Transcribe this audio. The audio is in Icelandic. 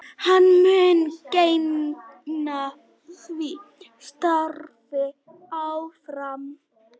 Hann mun gegna því starfi áfram